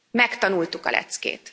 Megtanultuk a leckét.